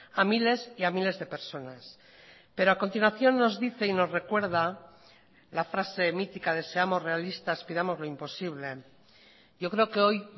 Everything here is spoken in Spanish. a miles y a miles de personas pero a continuación nos dice y nos recuerda la frase mítica de seamos realistas pidamos lo imposible yo creo que hoy